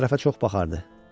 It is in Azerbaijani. Sən tərəfə çox baxardı.